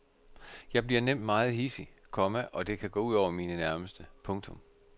Jeg bliver nemt meget hidsig, komma og det kan gå ud over mine nærmeste. punktum